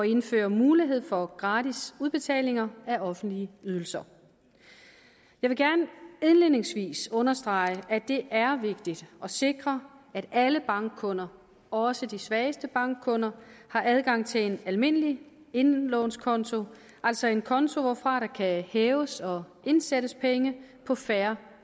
indføre mulighed for gratis udbetaling af offentlige ydelser jeg vil gerne indledningsvis understrege at det er vigtigt at sikre at alle bankkunder også de svageste bankkunder har adgang til en almindelig indlånskonto altså en konto hvorfra der kan hæves og indsættes penge på fair